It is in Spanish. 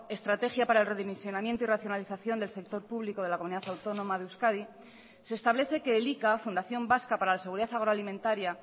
estrategia para el redimensionamiento y racionalización del sector público de la comunidad autónoma de euskadi se establece que elika fundación vasca para la seguridad agroalimentaria